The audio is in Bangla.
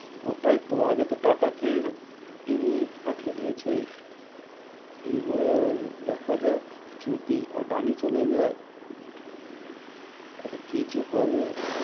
ওটাই তো, আগে তো টাটা কে পাঠিয়ে দিয়েছে, এবার দেখা যাক যদি আদানি চলে যাই, তাহলে কি যে হবে?